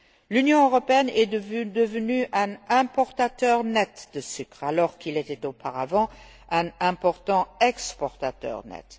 L'Union européenne est devenue un importateur net de sucre, alors qu'elle était auparavant un important exportateur net.